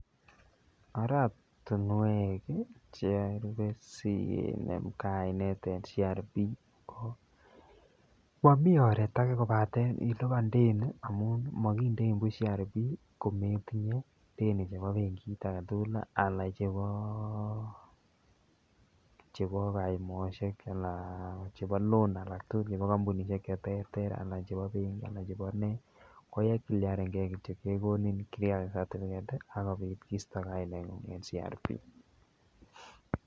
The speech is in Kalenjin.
Oratinwek charupe sikinem kainet en CRB ko momii oreet akee kobaten iliban deni amun mokindein buch CRB kometinye chebo benkit aketukul alaa chebo kayumoshek anan chebo loan alak tukul chebo kombunishek cheterter alaa chebo benki alaa chebo ne ko kai cliarenge ko itiakat inyendet ak kobit kisto kainengung en CRB.